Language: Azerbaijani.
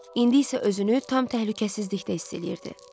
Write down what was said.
İndi isə özünü tam təhlükəsizlikdə hiss eləyirdi.